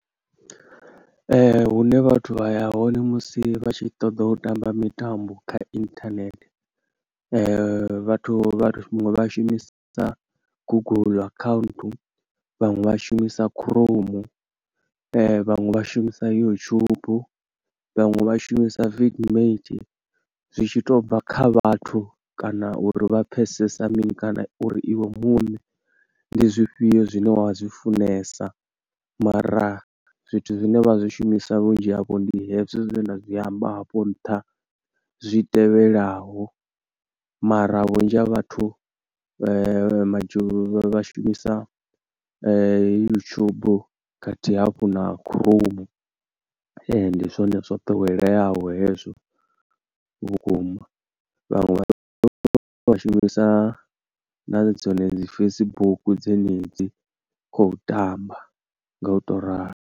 Hune vhathu vha ya hone musi vha tshi ṱoḓa u tamba mitambo kha internet, vhathu huṅwe vha shumise Google account, vhaṅwe vha shumisa Chrome, vhaṅwe vha shumisa YouTube, vhaṅwe vha shumisa Vidmate. Zwi tshi to u bva kha vhathu kana uri vha pfesesa mini, kana uri iwe muṋe ndi zwifhio zwine wa zwifunesa, mara zwithu zwine vha zwi shumisa vhunzhi havho ndi hezwi zwe nda zwi amba hafho nṱha zwi tevhelaho. Mara vhunzhi ha vhathu majo, vhashumisa YouTube khathihi hafhu na Chrome. Ee, ndi zwone zwa ḓoweleyaho hezwo vhukuma, vhaṅwe vha shumisa na dzone dzi Facebook dzenedzi khou tamba nga u to ralo.